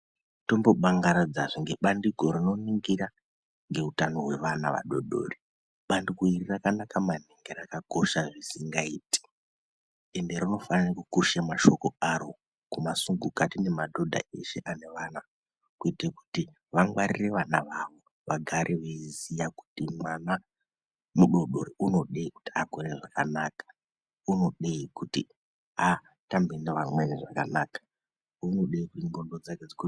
Tombobangaridzazve ngebandiko rinoningira ngeutano hwevana vadodori. Bandiko iri rakanaka maningi rakakosha zvisingaiti ende rinofanirwa kukusha mashoko aro kumasungukati nemadhodha eshe ane vana. Kuite kuti vangwarire vana vavo. Vagare veiziya kuti mwana mudodori unodei kuti akure zvakanaka? Unodei kuti atambe neamweni zvakanaka? Unodei kuti ndxondo dzake dzikure zvakanaka?